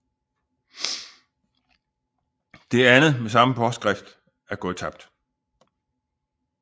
Det andet med samme påskrift er gået tabt